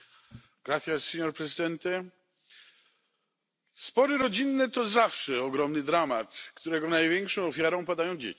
Panie Przewodniczący! Spory rodzinne to zawsze ogromny dramat, którego największą ofiarą padają dzieci.